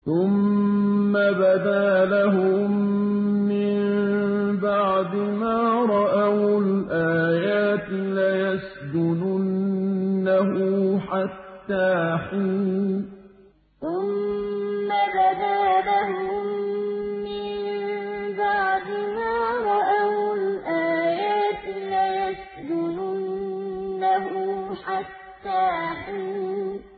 ثُمَّ بَدَا لَهُم مِّن بَعْدِ مَا رَأَوُا الْآيَاتِ لَيَسْجُنُنَّهُ حَتَّىٰ حِينٍ ثُمَّ بَدَا لَهُم مِّن بَعْدِ مَا رَأَوُا الْآيَاتِ لَيَسْجُنُنَّهُ حَتَّىٰ حِينٍ